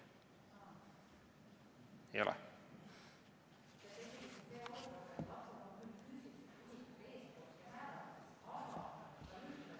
Ei ole?